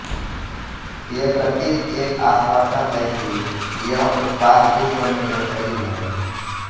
ये प्रतीक एक आश्वासन है कि यह उत्पाद विश्व में बेहतरीन है